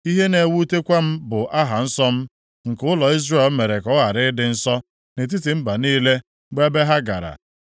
Ihe na-ewutekwa m bụ aha nsọ m, nke ụlọ Izrel mere ka ọ ghara ịdị nsọ nʼetiti mba niile bụ ebe ha gara.